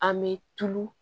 An me tulu